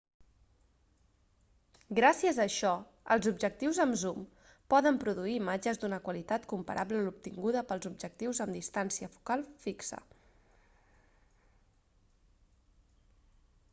gràcies a això els objectius amb zoom poden produir imatges d'una qualitat comparable a l'obtinguda pels objectius amb distància focal fixa